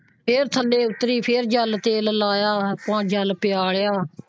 ਫੇਰ ਥੱਲੇ ਉੱਤਰੀ ਫੇਰ ਜਲ ਤੇਲ ਲਾਇਆ ਜਲ ਪਿਆਇਆ।